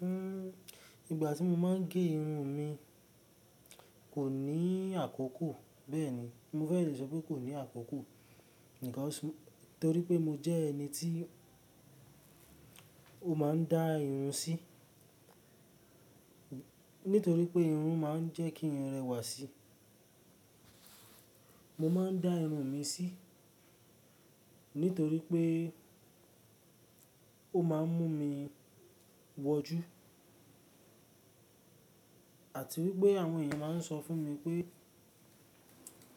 Hmm, ìgbà tí mo máa ń gé irun mi kò ní àkókò bẹ́ẹ̀ni. Mo fẹ́ le sọ pé kò ní àkókò, torí pé mo jẹ́ ẹni tí ó máa ń dá irun sí. Nítorí pé irun máa ń jẹ́ kí n rẹwà sí. Mo máa ń dá irun mi sí, nítorí pé ó máa ń mú mi wọjú. Àti wípé àwọn èèyàn máa ń sọ fún mi pé,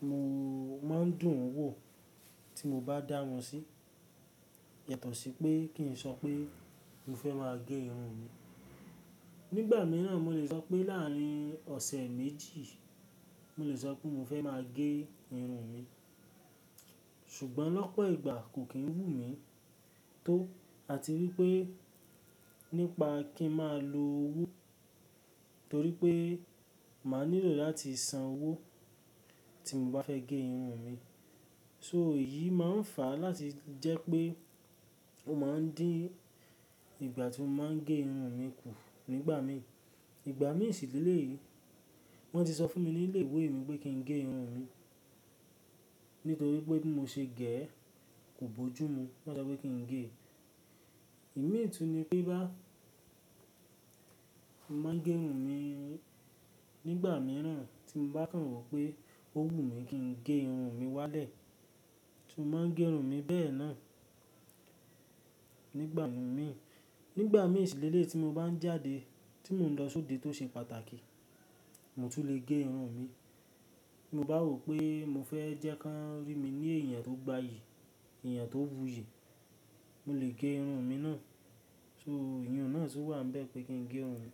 mo máa ń dùn wò tí mo bá dá wọn sí. Yàtọ̀ sí pé kí n sọ pé mo fẹ́ máa gé irun mi. Nígbà mìíràn mo lè sọ pé láàrín ọ̀sẹ̀ méjì, mo lè sọ pé mo fẹ́ máa gé irun mi. Ṣùgbọ́n lọ́pọ̀ ìgbà kò kí ń wù mí tó. Àti wípé nípa kí ń máa lo owó, torí pé máa nílò láti san owó tí n bá fẹ́ gé irun mi. So èyí máa ń fà láti jẹ́ pé ó máa ń dín ìgbà tí mo máa ń gé irun mi kù nígbà mí. Ìgbà mí ṣì lẹ̀ lèyi wọ́n ti sọ fún mi ní ilé ìwé mi pé kí n gé irun mi. Nítorí pé bí mo ṣe gẹ̀ ẹ́ kò bójú mu. Wọ́n sọ pé kí n gé. Imi tùni ni pé boyá, mo máa ń gé irun mi nígbà mìíràn tí mo bá kan rò pé ó wù mí kí n gé irun mi wálẹ̀, ti mo máa ń gé irun mi bẹ́ẹ̀ náà. Nígbà mí, nígbà míì ṣì lẹ̀ lèyi tí mo bá ń jáde tí mò ń lọ sóde tó ṣe pàtàkì, mo tún lè gé irun mi. Bí mo bá rò pé mo fẹ́ jẹ́ kí wọ́n rí mi ní èèyàn tó gbayì, èèyàn tó wù yí, mo lè gé irun mi náà. So ìyin ùn náà tun wà n bẹ̀ pé kí n gé irun mi.